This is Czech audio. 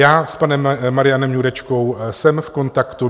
Já s panem Marianem Jurečkou jsem v kontaktu.